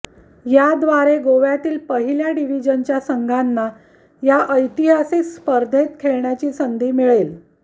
याद्वारे गोव्यातील पहिल्या डिव्हिजनच्या संघांना या ऐतिहासिक स्पर्धेत खेळण्याची संधी मिळेल